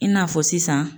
I n'a fɔ sisan